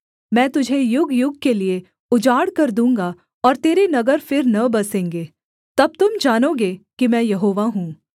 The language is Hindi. मैं तुझे युगयुग के लिये उजाड़ कर दूँगा और तेरे नगर फिर न बसेंगे तब तुम जानोगे कि मैं यहोवा हूँ